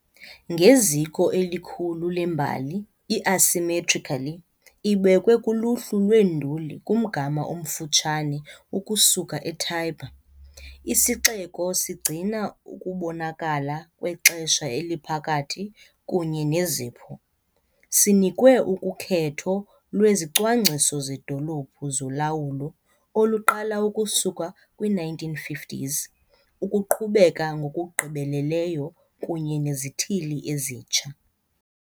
Ngeziko elikhulu lembali, i-asymmetrically ibekwe kuluhlu lweenduli kumgama omfutshane ukusuka eTiber, isixeko sigcina ukubonakala kwexesha eliphakathi kunye nezipho - sinikwe ukhetho lwezicwangciso zedolophu zolawulo oluqala ukusuka kwi-1950s - ukuqhubeka ngokugqibeleleyo kunye nezithili ezintsha.